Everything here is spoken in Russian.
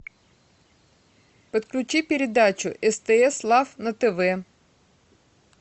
подключи передачу стс лав на тв